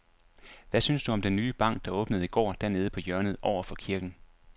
Hvad synes du om den nye bank, der åbnede i går dernede på hjørnet over for kirken?